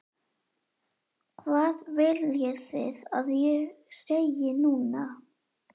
Hvað viljið þið að ég segi núna?